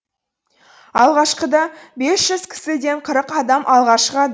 алғашқыда бес жүз кісіден қырық адам алға шығады